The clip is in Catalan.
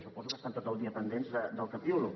suposo que estan tot el dia pendents del què piulo